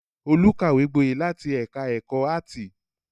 Olú kàwé gboyè láti ẹ̀ka-ẹ̀kọ́ áátì.